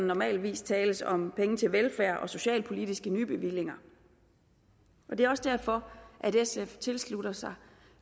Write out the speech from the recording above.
normalt tales om penge til velfærd og socialpolitiske nybevillinger det er også derfor at sf tilslutter sig